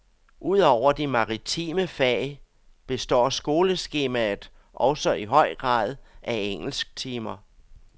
Udover de maritime fag, består skoleskemaet også i høj grad af engelsktimer.